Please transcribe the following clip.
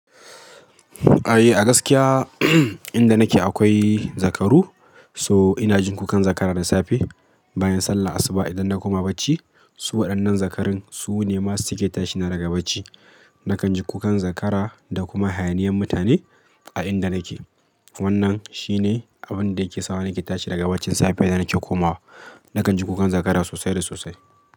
Ay, a gaskiya inda nake akwai zakaru, so ina jin kukan zakara da safe bayan sallar asuba idan na koma bacci. Su waɗannan zakarun su ne masu cike tashi na daga bacci. Nakan ji kukan zakara da kuma hayaniyan mutane a inda nake. Wannan shi ne abin da yake sa nake tashi daga bacci safe idan nake komawa. Nakan ji kukan zakara sosai da sosai.